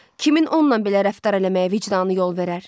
Kimin onunla belə rəftar eləməyə vicdanı yol verər?